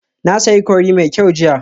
Na sayi curry mai kyau jiya